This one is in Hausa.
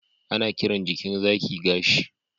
ana kiran jikin zaki gashi